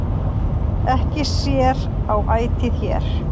Ekki sér á ætið hér,